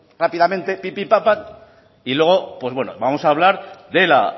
rápidamente pipi papa y luego pues bueno vamos a hablar de la